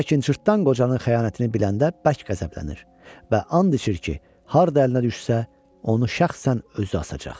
Lakin cırtdan qocanın xəyanətini biləndə bərk qəzəblənir və and içir ki, harda əlinə düşsə, onu şəxsən özü asacaq.